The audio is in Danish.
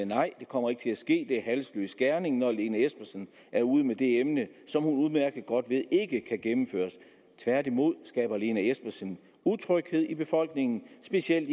nej det kommer ikke til at ske det er halsløs gerning når lene espersen er ude med det emne som hun udmærket godt ved ikke kan gennemføres tværtimod skaber lene espersen utryghed i befolkningen specielt